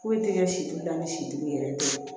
Foyi tɛ kɛ sitigi la ni sitigi yɛrɛ tɛ